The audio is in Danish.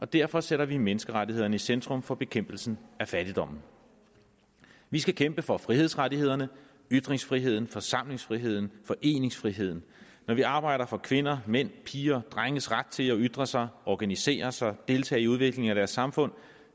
derfor sætter vi menneskerettighederne i centrum for bekæmpelsen af fattigdommen vi skal kæmpe for frihedsrettighederne ytringsfriheden forsamlingsfriheden og foreningsfriheden når vi arbejder for kvinder mænd piger og drenges ret til at ytre sig organisere sig deltage i udviklingen af deres samfund